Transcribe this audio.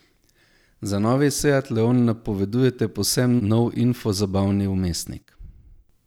Za novi seat leon napovedujete povsem nov infozabavni vmesnik.